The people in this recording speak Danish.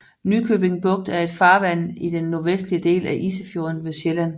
Nykøbing Bugt er et farvand i den nordvestlige del af Isefjorden ved Sjælland